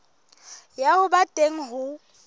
ya ho ba teng ho